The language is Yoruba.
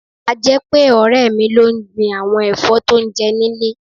A jẹ́ pé, ọ̀rẹ́ mi ló ń gbin àwọn ẹ̀fọ́ tó ń jẹ nílé.